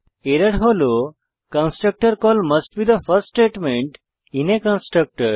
error হল constructor call must be the first statement in a constructor